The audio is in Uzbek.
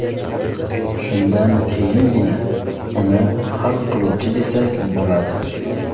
Shundan keyingina uni hal qiluvchi desak bo‘ladi.